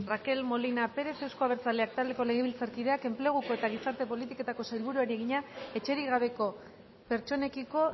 rakel molina pérez euzko abertzaleak taldeko legebiltzarkideak enpleguko eta gizarte politiketako sailburuari egina etxerik gabeko pertsonekiko